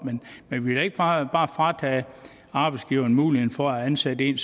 men vi ikke bare fratage arbejdsgiveren muligheden for at ansætte en